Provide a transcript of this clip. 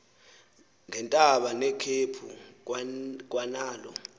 ngeentaba nekhephu kwanalo